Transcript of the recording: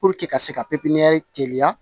ka se ka pepinyɛri teliya